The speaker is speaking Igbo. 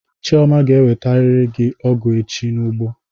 Chioma ga ewetariri gị ọgụ echi n'ụgbọ!